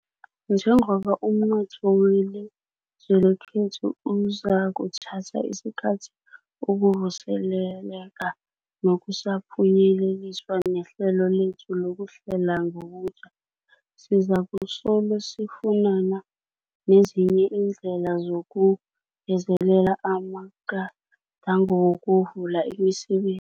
Njengoba umnotho weli zwe lekhethu uzakuthatha isikhathi ukuvuseleleka nakusaphunyeleliswa nehlelo lethu lokuhlela ngobutjha, sizakusolo sifunana nezinye iindlela zokungezelela amaga dango wokuvula imisebe